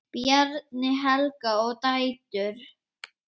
Bjarni, Helga og dætur.